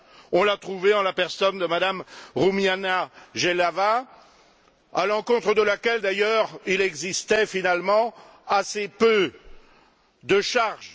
On l'a trouvé en la personne de M me Rumiana Jeleva, à l'encontre de laquelle, d'ailleurs, il existait finalement assez peu de charges.